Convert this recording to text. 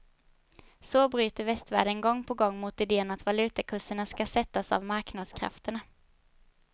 Så bryter västvärlden gång på gång mot idén att valutakurserna ska sättas av marknadskrafterna.